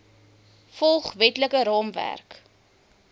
volg wetlike raamwerk